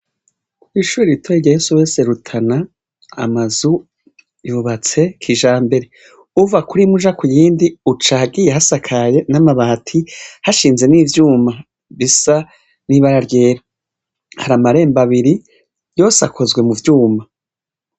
Kw'ishure ritoya rya SOS Rutana amazu yubatse kijambere. Uva kuri imwe uja ku yindi uca ahagiye hasakaye n'amabati, hashinze n'ivyuma bisa n'ibara ryera. Hari amarembo abiri yose akozwe mu vyuma.